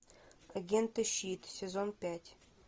агенты щит сезон пять